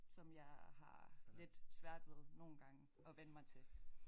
Som jeg har lidt svært ved nogle gange at vænne mig til